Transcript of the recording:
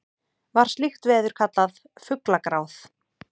var slíkt veður kallað fuglagráð